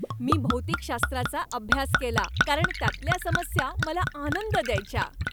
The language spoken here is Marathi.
मी भौतिकशास्त्राचा अभ्यास केला कारण त्यातल्या समस्या मला आनंद द्यायच्या.